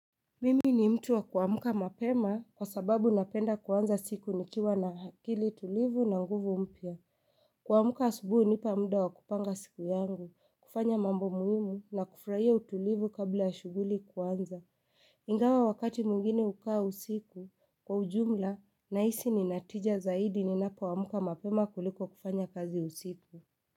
Mimi ni mtu wa kuamka mapema, kwa sababu napenda kuanza siku nikiwa na akili tulivu na nguvu mpya. Kuamuka asubuhi hunipa muda wa kupanga siku yangu, kufanya mambo muhimu na kufurahia utulivu kabla ya shughuli kuanza. Ingawa wakati mwingine hukaa usiku, kwa ujumla, nahisi ninatija zaidi ni napoamka mapema kuliko kufanya kazi usiku.